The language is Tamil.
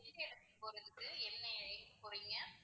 எந்த இடத்துக்கு போறதுக்கு, என்ன எங்க போறீங்க?